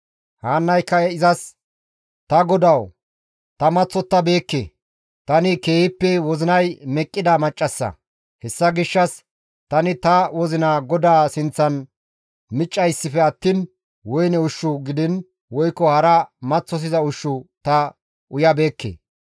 Haannayka izas, «Ta godawu ta maththottabeekke; tani keehippe wozinay meqqida maccassa; hessa gishshas tani ta wozina GODAA sinththan miccayssife attiin woyne ushshu gidiin woykko hara maththosiza ushshu ta uyabeekke.